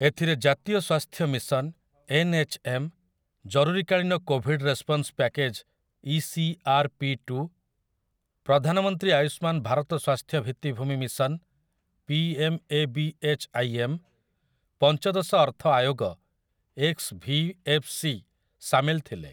ଏଥିରେ ଜାତୀୟ ସ୍ୱାସ୍ଥ୍ୟ ମିଶନ 'ଏନ୍ ଏଚ୍ ଏମ୍', ଜରୁରୀକାଳୀନ COVID response package 'E C R P two', ପ୍ରଧାନମନ୍ତ୍ରୀ ଆୟୁଷ୍ମାନ୍ ଭାରତ ସ୍ୱାସ୍ଥ୍ୟ ଭିତ୍ତିଭୂମି mission 'P M A B H I M', ପଞ୍ଚଦଶ ଅର୍ଥ ଆୟୋଗ 'ଏକ୍ସ ଭି ଏଫ୍ ସି' ସାମିଲ ଥିଲେ ।